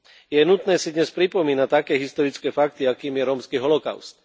Je nutné si dnes pripomínať také historické fakty, akým je rómsky holokaust.